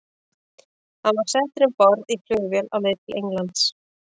Hann er settur um borð í flugvél á leið til Englands.